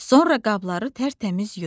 Sonra qabları tərtəmiz yudu.